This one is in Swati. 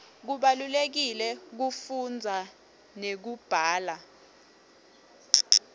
kubalulekile kufunza nekubhala